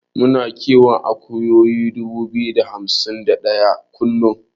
Muna kiwon akuyoyi dubu biyu da hamsin da ɗaya kullun.